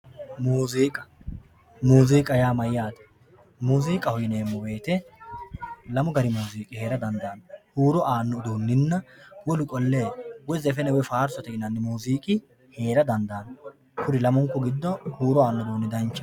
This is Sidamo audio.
muziiqa muziiq yaa mayyate muziiqaho yineemmo woyte lamu gari muziiqi heerara dandaanno huuro aanno uduunnina wolu qollle woy zefene woy faarsote yinnanniri heera dandaanno kuri lamunku giddo huuro aanno uduunni heerara dandaanno